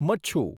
Machchhu